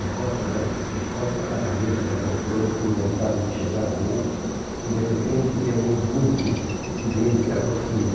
Recosta a ca encosta a cabeça na poltrona sem vontade de chegar à mesa e de repente vê um vulto que dele se aproxima.